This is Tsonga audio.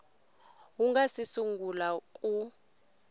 wu nga si sungula ku